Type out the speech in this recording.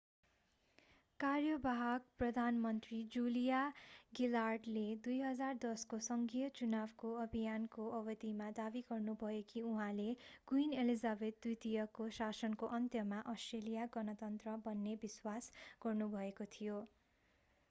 कार्यवाहक प्रधानमन्त्री जुलिया गिलार्डले 2010 को संघीय चुनावको अभियानको अवधिमा दाबी गर्नुभयो कि उहाँले क्विन एलिजाबेथ द्वितीयको शासनको अन्त्यमा अस्ट्रेलिया गणतन्त्र बन्ने विश्वास गर्नुभएको थियो